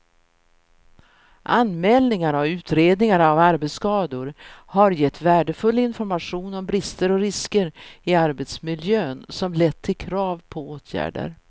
Anmälningarna och utredningarna av arbetsskador har gett värdefull information om brister och risker i arbetsmiljön som lett till krav på åtgärder.